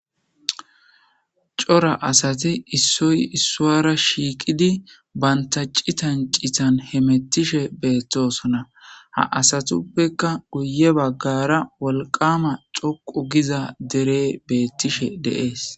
Cora asati issoy issuwara shiiqidi banta citan citan hemetishe betosona ha asatupekka guye bagara wolqama dhoqu giza derey betishe de'ese